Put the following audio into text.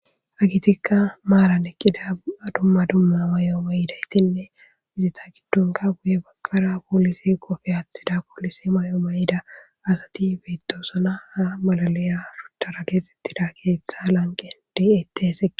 Hegethikka maaran eqqida dumma dumma mayuwa mayida ethinne eha yuye baggarakka polise qophiya aaththida polise mayuwa mayida asathi beeththoosona; ha mala lo7iyagee ha lanqqera de7eeththes.